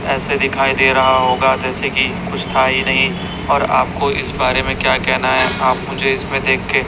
ऐसे दिखाई दे रहा होगा जैसे की कुछ था ही नहीं और आपको इस बारे में क्या कहना है? आप मुझे इसमें देख के--